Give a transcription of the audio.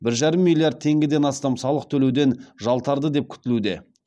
бір жарым миллиард теңгеден астам салық төлеуден жалтарды деп күтілуде